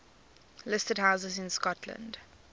listed houses in scotland